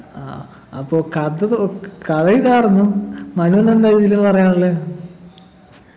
ആഹ് അപ്പൊ കഥ തുക് കഥ ഇതാർന്നു മനുനെന്താ ഇതില് പറയാനുള്ളെ